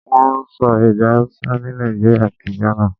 Wọ́n ń sọ èdè Hausa ni Nàìjíríà àti Ghana.